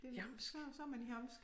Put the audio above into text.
Det så så man jamsk